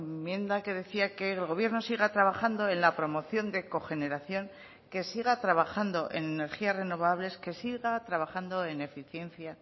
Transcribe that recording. enmienda que decía que el gobierno siga trabajando en la promoción de cogeneración que siga trabajando en energías renovables que siga trabajando en eficiencia